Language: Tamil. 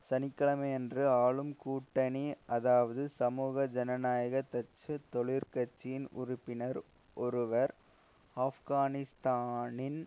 சனி கிழமையன்று ஆளும் கூட்டணி அதாவது சமூக ஜனநாயக டச்சு தொழிற் கட்சியின் உறுப்பினர் ஒருவர் ஆப்கானிஸ்தானின்